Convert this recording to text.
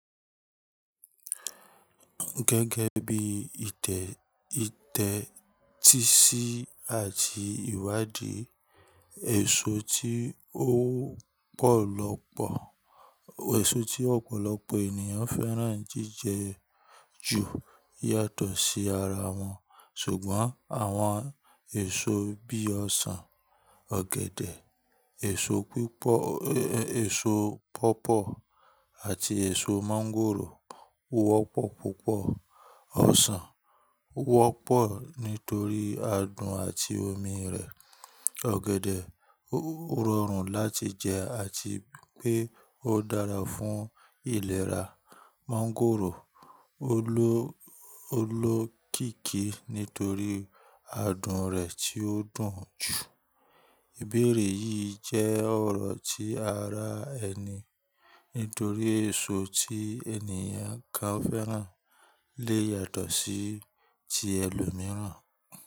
Gẹ́gẹ́ bí ìtẹ̀ ìtẹ́ tíì sì àti ìwádìí, èso tí ó pọ̀lọpọ̀ èso tí ọ̀pọ̀lọpọ̀ ènìyàn fẹ́ràn jíjẹ ju yàtọ̀ sí ara wọn. Ṣùgbọ́n àwọn èso bí i ọsàn, ọ̀gẹ̀dẹ̀, èso pípọ̀ èso pọ̀pọ̀ àti èso mọ́ngòrò wọ́pọ̀ púpọ̀. Ọsàn wọ́pọ̀ nítorí adùn àti omi rẹ̀. Ọ̀gẹ̀dẹ̀ ó rọrùn láti jẹ àti pé ó dára fún ìlera. Mọ́ngòrò olókìkí nítorí adùn rẹ̀ tí ó dùn jù. Ìbéèrè yìí jẹ́ ọ̀rọ̀ tí ara ẹni nítorí èso tí ènìyàn kan fẹ́ràn lè yàtọ̀ sí ti ẹlòmíràn.